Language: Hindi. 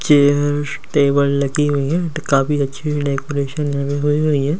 चेयर्स टेबल लगी हुई है तो काफी अच्छी भी लगी हुई हुई है।